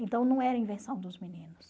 Então não era invenção dos meninos.